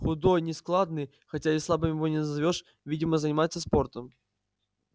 худой нескладный хотя и слабым его не назовёшь видимо занимается спортом